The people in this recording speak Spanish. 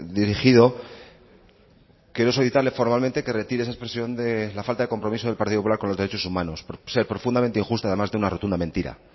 dirigido quiero solicitarle formalmente que retire esa expresión de la falta de compromiso del partido popular con los derechos humanos por ser profundamente injusta además de una rotunda mentira